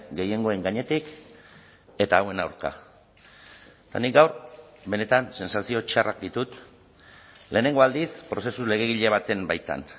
gehiengoen gainetik eta hauen aurka eta nik gaur benetan sentsazio txarrak ditut lehenengo aldiz prozesu legegile baten baitan